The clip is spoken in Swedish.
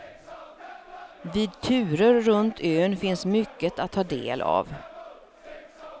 Vid turer runt ön finns mycket att ta del av.